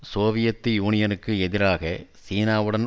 Soviet யூனியனுக்கு எதிராக சீனாவுடன்